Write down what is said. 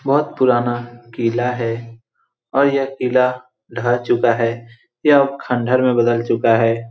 बोहोत पुराना किला है और यह किला ढह चूका है यह अब खण्डार में बदल चूका है।